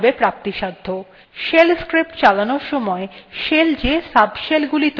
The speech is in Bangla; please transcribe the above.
shell scripts চালানোর somoy shells যে subshellগুলি তৈরী করে সেগুলিতেও এই variable প্রাপ্তিসাধ্য